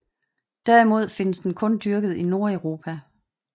Derimod findes den kun dyrket i Nordeuropa